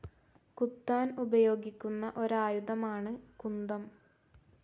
കുത്താൻ ഉപയോഗിക്കുന്ന ഒരായുധമാണ് കുന്തം.